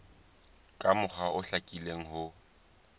ka mokgwa o hlakileng ho